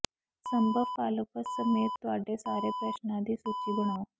ਸੰਭਵ ਫਾਲੋਪਸ ਸਮੇਤ ਤੁਹਾਡੇ ਸਾਰੇ ਪ੍ਰਸ਼ਨਾਂ ਦੀ ਸੂਚੀ ਬਣਾਓ